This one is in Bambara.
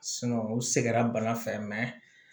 u sɛgɛnna bana fɛ